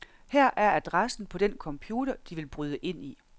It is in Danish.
Her er adressen på den computer, de vil bryde ind i.